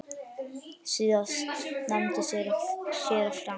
Síðast nefndi séra Frank